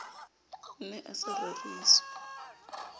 o ne a sa reriswa